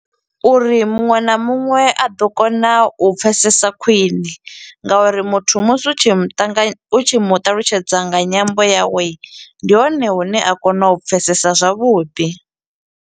Uri muṅwe na muṅwe, a ḓo kona u pfesesa khwiṋe ngauri muthu musi u tshi muṱangany, u tshi mu ṱalutshedza nga nyambo yawe, ndi hone hune a kona u pfesesa zwavhuḓi.